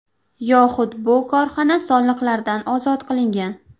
Yoxud bu korxona soliqlardan ozod qilingan.